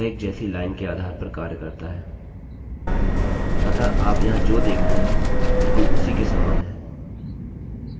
अतः आप यह जो यहाँ देख रहे हैं बिलकुल उसी के सामान हैआपको केवल इसे थोड़ा नीचे करना होगा और मैं यहाँ पर एक phpपीएचपीटेक्स्ट बनाने जा रहा हूँ